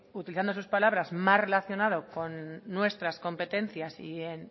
utilizando sus palabras mal relacionado con nuestras competencias y en